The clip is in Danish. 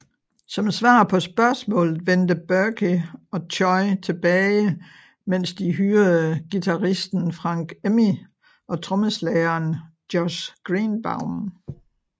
Som svar på spørgsmålet vendte Burkey og Choy tilbage mens de hyrede guiraisten Frank Emmi og trommeslageren Josh Greenbaum